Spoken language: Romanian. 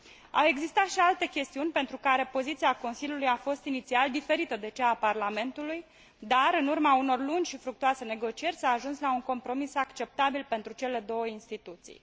Au existat și alte chestiuni pentru care poziția Consiliului a fost inițial diferită de cea a Parlamentului, dar, în urma unor lungi și fructuoase negocieri, s a ajuns la un compromis acceptabil pentru cele două instituții.